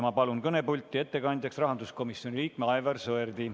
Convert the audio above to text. Ma palun kõnepulti ettekandjaks rahanduskomisjoni liikme Aivar Sõerdi.